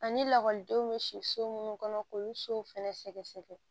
Ani lakɔlidenw bɛ si so minnu kɔnɔ k'olu sow fɛnɛ sɛgɛsɛgɛ